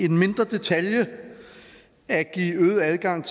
en mindre detalje at give øget adgang